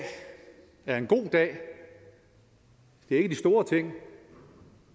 er en god dag det er ikke de store ting